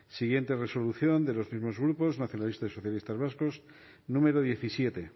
siguiente resolución de los mismos grupos nacionalistas y socialistas vascos número diecisiete